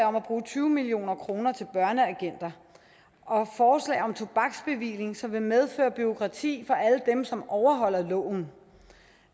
om at bruge tyve million kroner til børneagenter og forslag om tobaksbevilling som vil medføre bureaukrati for alle dem som overholder loven